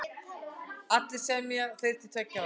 Allir semja þeir til tveggja ára.